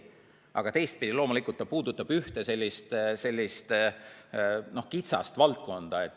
Aga teistpidi ta puudutab ühte sellist kitsast valdkonda.